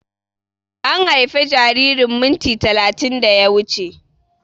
An haife jaririn minti talatin da ya wuche